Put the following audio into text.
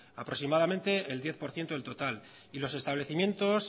aproximadamente el diez por ciento del total y los establecimientos